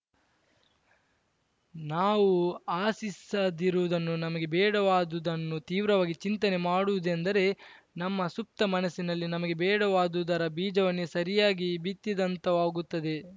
ನಾವು ಆಸಿಸದಿರುವುದನ್ನು ನಮಗೆ ಬೇಡವಾದುದನ್ನು ತೀವ್ರವಾಗಿ ಚಿಂತನೆ ಮಾಡುವುದೆಂದರೆ ನಮ್ಮ ಸುಪ್ತ ಮನಸ್ಸಿನಲ್ಲಿ ನಮಗೆ ಬೇಡವಾದುದರ ಬೀಜವನ್ನೇ ಸರಿಯಾಗಿ ಬಿತ್ತಿದಂತಾಗುತ್ತದೆ